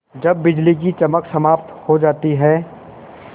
जब बिजली की चमक समाप्त हो जाती है